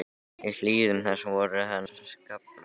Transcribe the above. Í hlíðum þess voru enn skaflar.